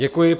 Děkuji.